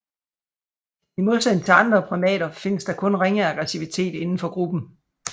I modsætning til andre primater findes der kun ringe aggressivitet inden for gruppen